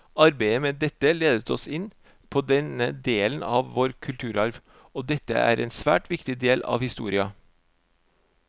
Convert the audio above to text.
Arbeidet med dette ledet oss inn på denne delen av vår kulturarv, og dette er en svært viktig del av historia.